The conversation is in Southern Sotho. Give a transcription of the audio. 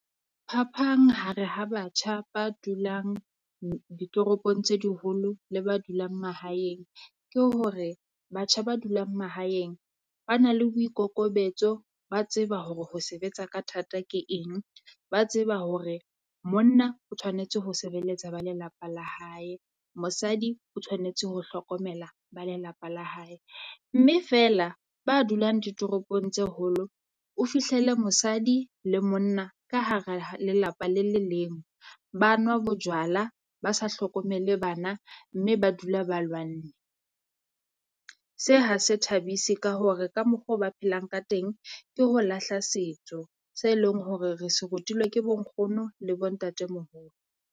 Phapang ha re ha batjha ba dulang ditoropong tse diholo le ba dulang mahaeng ke hore, batjha ba dulang mahaeng ba na le boikokobetso, ba tseba hore ho sebetsa ka thata ke eng. Ba tseba hore monna o tshwanetse ho sebeletsa ba lelapa la hae, mosadi o tshwanetse ho hlokomela ba lelapa la hae, mme feela ba dulang ditoropong tse holo, o fihlele mosadi le monna ka hara ha lelapa le le leng, ba nwa bojwala, ba sa hlokomele bana mme ba dula ba lwanne. Se ha se thabise ka hore ka mokgwa o ba phelang ka teng ke ho lahla setso se leng hore re se rutilwe ke bo nkgono le bo ntatemoholo.